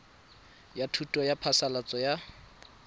ya thuso ya phasalatso ya